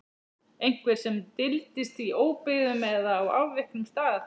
Einhver sem dyldist í óbyggðum eða á afviknum stað.